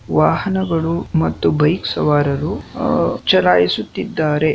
ವಾಹನಗಳು ಮತ್ತು ಬೈಕ್ ಸವಾರರು ಅಹ್ ಚಲಾಯಿಸುತ್ತಿದ್ದಾರೆ.